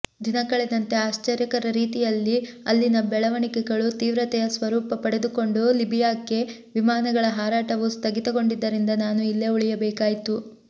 ದಿನಕಳೆದಂತೆ ಆಶ್ಚರ್ಯಕರ ರೀತಿಯಲ್ಲಿ ಅಲ್ಲಿನ ಬೆಳವಣಿಗೆಗಳು ತೀವ್ರತೆಯ ಸ್ವರೂಪ ಪಡೆದುಕೊಂಡು ಲಿಬಿಯಾಕ್ಕೆ ವಿಮಾನಗಳ ಹಾರಾಟವೂ ಸ್ಥಗಿತಗೊಂಡಿದ್ದರಿಂದ ನಾನು ಇಲ್ಲೇ ಉಳಿಯಬೇಕಾಯಿತು